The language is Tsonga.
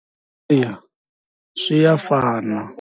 Eya swi ya fana.